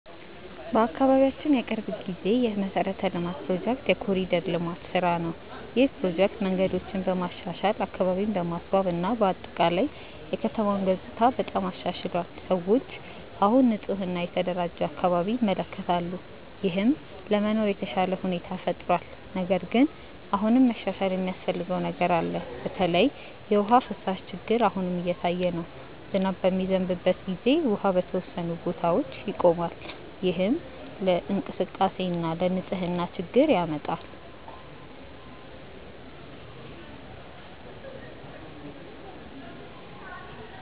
በአካባቢያችን የቅርብ ጊዜ የመሠረተ ልማት ፕሮጀክት የ“ኮሪደር ልማት” ስራ ነው። ይህ ፕሮጀክት መንገዶችን በማሻሻል፣ አካባቢን በማስዋብ እና በአጠቃላይ የከተማውን ገጽታ በጣም አሻሽሏል። ሰዎች አሁን ንፁህ እና የተደራጀ አካባቢ ይመለከታሉ፣ ይህም ለመኖር የተሻለ ሁኔታ ፈጥሯል። ነገር ግን አሁንም መሻሻል የሚያስፈልገው ነገር አለ። በተለይ የውሃ ፍሳሽ ችግር አሁንም እየታየ ነው። ዝናብ በሚዘንብበት ጊዜ ውሃ በተወሰኑ ቦታዎች ይቆማል፣ ይህም ለእንቅስቃሴ እና ለንፅህና ችግር ያመጣል።